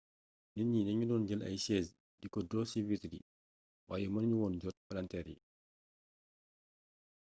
nit ñi dañu doon jël ay chaise di ko dóor ci vitre yi waaye mënu ñu woon jot palanteer yi